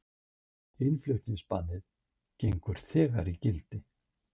Innflutningsbannið gengur þegar í gildi